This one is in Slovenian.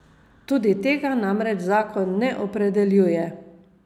Tudi tega namreč zakon ne opredeljuje.